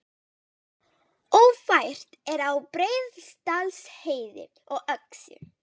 Ófært er á Breiðdalsheiði og Öxi